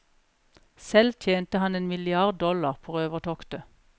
Selv tjente han en milliard dollar på røvertoktet.